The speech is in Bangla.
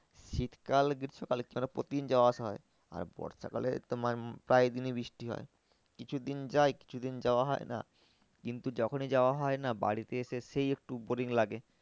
শীতকাল গ্রীষ্মকাল প্রতিদিন যাওয়া আসা হয়। আর বর্ষাকালে তোমার প্রায় দিনই বৃষ্টি হয় কিছুদিন যায় কিছুদিন যাওয়া হয় না। কিন্তু যখনই যাওয়া হয় না বাড়িতে এসে সেই একটু boring লাগে।